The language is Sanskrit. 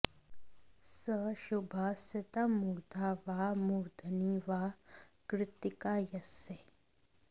स शुभः सितमूर्धा वा मूर्धनि वा कृत्तिका यस्य